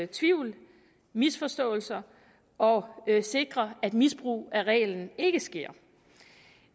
tvivl misforståelser og at sikre at misbrug af reglen ikke sker